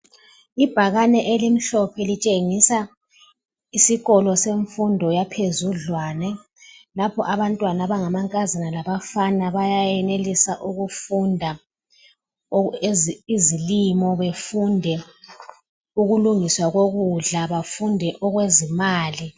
Ibhakane elimhlophe litshengisa isikolo semfundo yaphezudlwane, lapho abantwana abangamankazana labafana bayenelisa ukufunda izilimo, befunde ukulungiswa kokudla, bafunde ukulungiswa kwezimali.